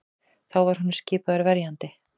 Þá var honum skipaður verjandi